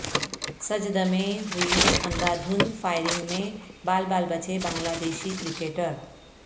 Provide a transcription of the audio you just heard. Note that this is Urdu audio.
سجد میں ہوئی اندھادھند فائرنگ میں بال بال بچے بنگلہ دیشی کرکٹر